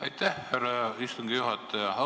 Aitäh, härra istungi juhataja!